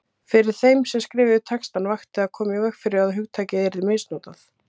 Fyrir þeim sem skrifuðu textana vakti að koma í veg fyrir að hugtakið yrði misnotað.